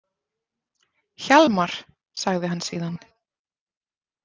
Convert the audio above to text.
Hjalmar, sagði hann síðan.